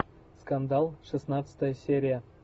скандал шестнадцатая серия